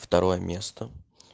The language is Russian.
второе место